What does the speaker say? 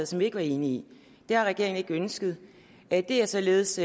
som vi ikke var enige i det har regeringen ikke ønsket det er således